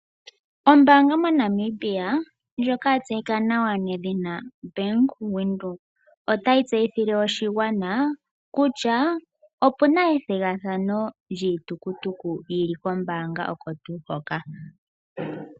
Ombaanga moNamibia ndjoka ya tseyika nedhina Bank Windhoek. Otayi tseyithile oshigwana kutya opuna ethigathano lyiitukutuku yili kombaanga oko tuu hoka.